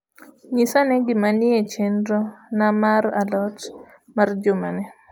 nyisa ane gima nie chenro na mar a lot mar jumani